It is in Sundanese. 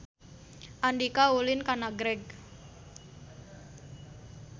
Andika ulin ka Nagreg